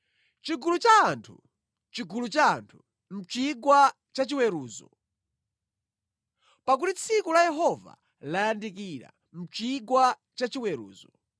Chigulu cha anthu, chigulu cha anthu, mʼchigwa cha chiweruzo! Pakuti tsiku la Yehova layandikira mʼchigwa cha chiweruzo.